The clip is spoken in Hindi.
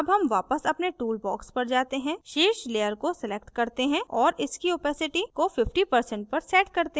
अब हम वापस अपने टूलबॉक्स पर जाते हैं शीर्ष layer को select करते हैं और इसकी opacity अस्पष्टता को 50% पर set करते हैं